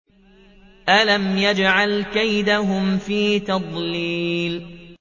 أَلَمْ يَجْعَلْ كَيْدَهُمْ فِي تَضْلِيلٍ